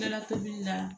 Kɛra tobili la